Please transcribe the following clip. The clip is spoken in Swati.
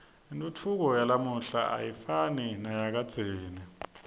intfutfuko yalamuhla ayifani neyakadzeni